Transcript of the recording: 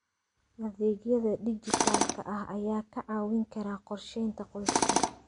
Adeegyada dijitaalka ah ayaa kaa caawin kara qorsheynta qoyska.